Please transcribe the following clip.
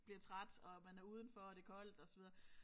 Bliver træt og man er udenfor og det koldt og så videre